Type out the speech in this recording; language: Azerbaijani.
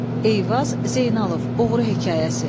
Eyvaz Zeynalov, Oğru hekayəsi.